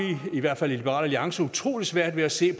i hvert fald i liberal alliance utrolig svært ved at se